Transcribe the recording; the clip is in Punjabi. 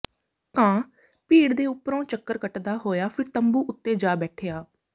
ਕਾਂ ਭੀੜ ਦੇ ਉੱਪਰੋਂ ਚੱਕਰ ਕੱਟਦਾ ਹੋਇਆ ਫਿਰ ਤੰਬੂ ਉੱਤੇ ਜਾ ਬੈਠਿਆ